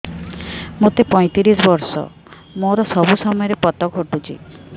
ମୋତେ ପଇଂତିରିଶ ବର୍ଷ ମୋର ସବୁ ସମୟରେ ପତ ଘଟୁଛି